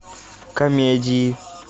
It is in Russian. комедии